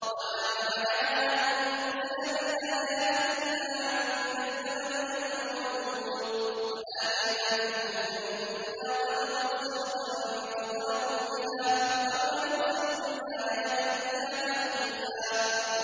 وَمَا مَنَعَنَا أَن نُّرْسِلَ بِالْآيَاتِ إِلَّا أَن كَذَّبَ بِهَا الْأَوَّلُونَ ۚ وَآتَيْنَا ثَمُودَ النَّاقَةَ مُبْصِرَةً فَظَلَمُوا بِهَا ۚ وَمَا نُرْسِلُ بِالْآيَاتِ إِلَّا تَخْوِيفًا